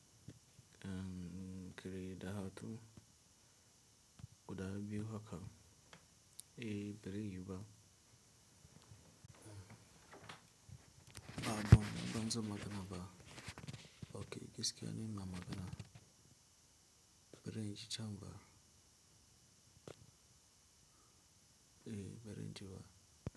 Kirai da hakan guda biyu haka, eh birai yuba. Ah bon, banzan magana ba. Okay, gaskiya ni ina magana. Birinje can ba. Eh, bazanje ba.